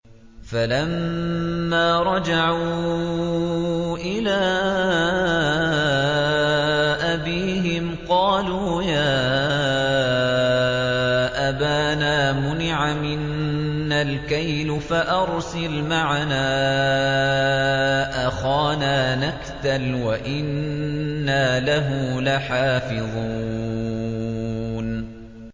فَلَمَّا رَجَعُوا إِلَىٰ أَبِيهِمْ قَالُوا يَا أَبَانَا مُنِعَ مِنَّا الْكَيْلُ فَأَرْسِلْ مَعَنَا أَخَانَا نَكْتَلْ وَإِنَّا لَهُ لَحَافِظُونَ